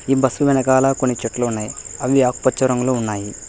ఈ బస్సు వెనకాల కొన్ని చెట్లు ఉన్నాయి అవి ఆకుపచ్చ రంగులో ఉన్నాయి.